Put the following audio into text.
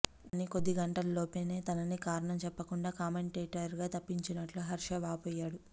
కానీ కొద్ది గంటల్లోపే తనని కారణం చెప్పకుండా కామెంటేటర్గా తప్పించినట్లు హర్షా వాపోయాడు